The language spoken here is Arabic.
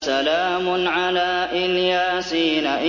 سَلَامٌ عَلَىٰ إِلْ يَاسِينَ